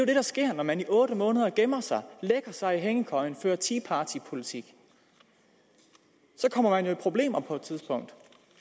det der sker når man i otte måneder gemmer sig lægger sig i hængekøjen fører tea party politik så kommer man jo i problemer på et tidspunkt